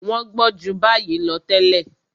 Wọ́n gbọ́n ju báyìí lọ tẹ́lẹ̀.